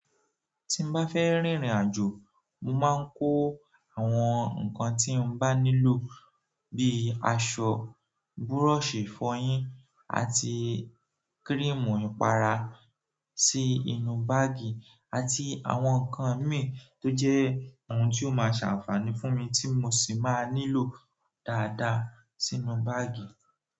Tí n bá fẹ́ rìnrìn àjò, mo máa ń kó àwọn nǹkan tí n bá nílò bíi àṣo, búrọ́ọ̀ṣì ìfọyín àti kírímù ìpara. Sí inú báágì àti àwọn nǹkan mìí tó jẹ́ ohun tí ó máa ṣe àǹfààní fún mi tí mo sì máa nílò dáadáa sínú báágì.